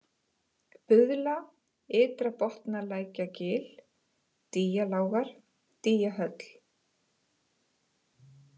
Buðla, Ytra-Botnalækjargil, Dýjalágar, Dýjahöll